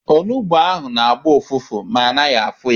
Onugbu na-agbọ ụfụfụ ma ana afọ ya.